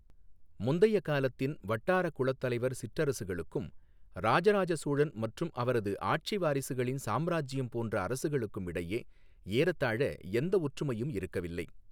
முந்தைய காலத்தின் வட்டார குளத்தலைவர் சிற்றரசுகளுக்கும் ராஜராஜ சோழன் மற்றும் அவரது ஆட்சிவாரிசுகளின் சாம்ராஜ்யம் போன்ற அரசுகளுக்கும் இடையே ஏறத்தாழ எந்த ஒற்றுமையும் இருக்கவில்லை.